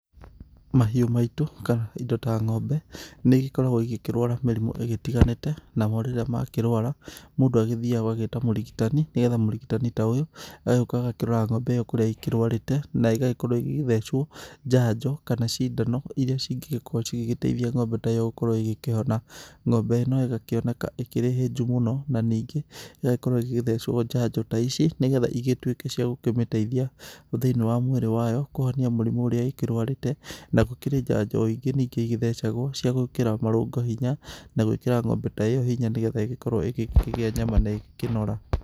Mahiũ maitũ, kana indo ta ng'ombe nĩigĩkoragwo ikĩrwara mĩrimu ĩgĩtiganĩte. Namo rĩrĩa makĩrwara, mũndũ agĩthiaga ũgagĩta mũrigitani, nĩ getha mũrigitani ta ũyũ agagĩũka agakĩrora kũrĩa ng'ombe ĩyo kũrĩa ikĩrwarĩte, na igagĩkorwo igĩthecwo njanjo kana cindano iria cingĩgĩkorwo cigĩgĩteithia ng'ombe ta ĩyo gũkorwo igĩkĩhona. Ng'ombe ĩno ĩgakĩoneka ĩkĩrĩ hĩnju mũno, na ningĩ ĩgagĩkorwo ĩgĩthecwo njanjo ta ici, ni getha igĩtwĩke cia kũmĩteithia thĩ-inĩ wa mwĩrĩ wayo kũhonia mũrimũ ũrĩa ĩkĩrwarĩte. Na gũkĩrĩ njanjo o ingĩ ningĩ igĩthecagwo cia gwĩkĩra marũngo hinya, na gwĩkĩra ng'ombe ta ĩyo hinya nĩ getha ĩgĩkorwo igĩkĩgĩa nyama na ĩgĩkĩnora.